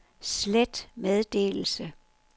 slet meddelelse